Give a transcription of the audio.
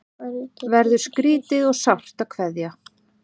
Verður skrýtið og sárt að kveðja